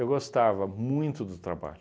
Eu gostava muito do trabalho.